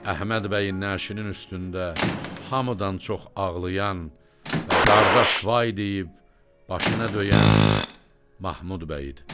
Əhməd bəyin nəşinin üstündə hamıdan çox ağlayan və qardaş vay deyib başına döyən Mahmud bəy idi.